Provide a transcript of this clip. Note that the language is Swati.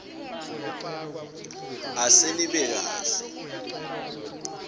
ase nibe kahle